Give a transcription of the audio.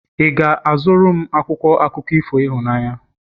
ị ga-azụrụ m akwụkwọ akụkọ ifo ịhụnanya?